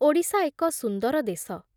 ଓଡ଼ିଶା ଏକ ସୁନ୍ଦର ଦେଶ